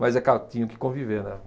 Mas é claro, tinham que conviver, né?